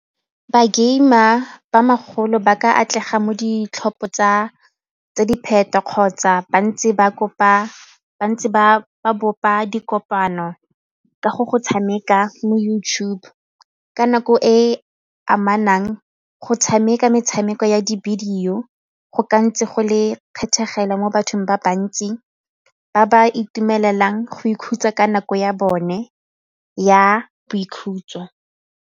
Ba game-a ba bagolo ba ka atlega mo ditlhopho kgotsa ba ntse ba bopa dikopano ka go go tshameka mo YouTube ka nako e amanang go tshameka metshameko ya di-video go ka ntse go le mo bathong ba bantsi ba ba itumeleleng go ikhutsa ka nako ya bone ya boikhutso.